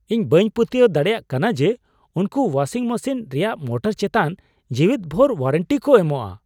ᱤᱧ ᱵᱟᱹᱧ ᱯᱟᱹᱛᱭᱟᱹᱣ ᱫᱟᱲᱮᱭᱟᱜ ᱠᱟᱱᱟ ᱡᱮ ᱩᱱᱠᱩ ᱳᱣᱟᱥᱤᱝ ᱢᱮᱥᱤᱱ ᱨᱮᱭᱟᱜ ᱢᱳᱴᱚᱨ ᱪᱮᱛᱟᱱ ᱡᱮᱣᱮᱫ ᱵᱷᱳᱨ ᱳᱣᱟᱨᱮᱱᱴᱤ ᱠᱚ ᱮᱢᱚᱜᱼᱟ ᱾